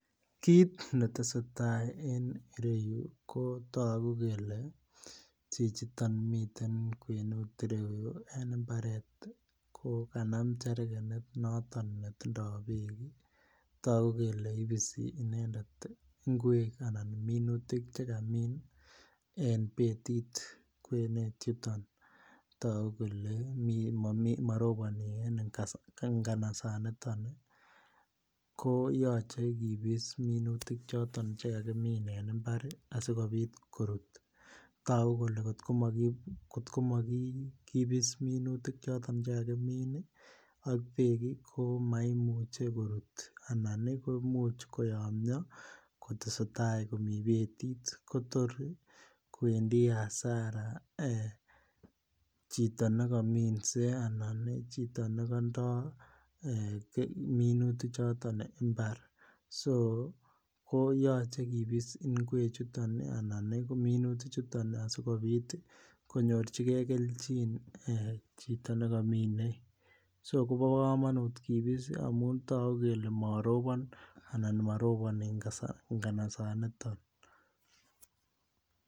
Kit ne tesetai en ireyu ko togu kele chichiton miten en kwenut ireyu en mbaret ko kokanam cherkenit noton netindoi bek togu kele ibisi inendet ngwek anan minutik Che kamin en betit kwenet yuton togu kele maroboni en nganasaniton ko yoche kibis minutik choton Che kakimin en mbar asikobit korut togu kole kotko mo kibis minutik choton Che kakimin ak bek ko maimuche korut anan komuch koyomyo kotesetai komii betit kotor kowendi hasara chito ne kominse anan chito ne kandoi minutichuton mbar so ko yoche kibis ngwechuton anan minutichuton asikobit konyorchigei kelchin chito ne komine so kobo kamanut kibis amun togu kele morobon anan moroboni nganasaniton